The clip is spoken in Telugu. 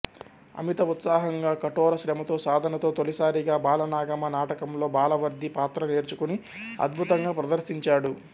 అమిత ఉత్సాహంగా కఠోర శ్రమతో సాధనతో తొలిసారిగా బాలనాగమ్మ నాటకంలో బాలవర్ధి పాత్ర నేర్చుకుని అధ్భుతంగా ప్రదర్శించాడు